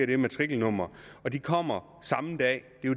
det matrikelnummer kommer samme dag